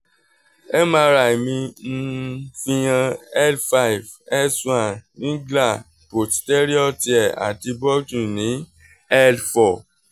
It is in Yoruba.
mri [s] mi um fihan l five s one ringlar posterior tear ati ni l four